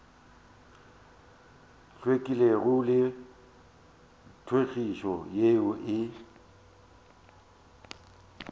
hlwekilego le tlhwekišo yeo e